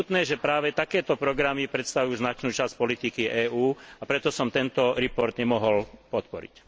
Je smutné, že práve takéto programy predstavujú značnú časť politiky EÚ, a preto som tento report nemohol podporiť.